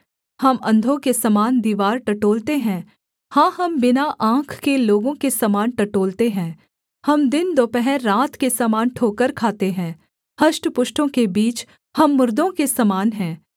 हम अंधों के समान दीवार टटोलते हैं हाँ हम बिना आँख के लोगों के समान टटोलते हैं हम दिन दोपहर रात के समान ठोकर खाते हैं हष्टपुष्टों के बीच हम मुर्दों के समान हैं